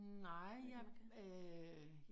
Nej jeg øh